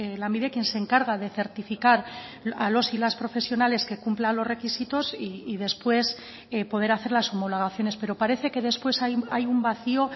lanbide quien se encarga de certificar a los y las profesionales que cumplan los requisitos y después poder hacer las homologaciones pero parece que después hay un vacio